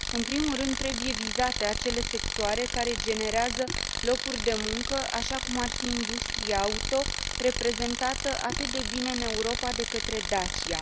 În primul rând, trebuie vizate acele sectoare care generează locuri de muncă, așa cum ar fi industria auto, reprezentată atât de bine în Europa de către Dacia.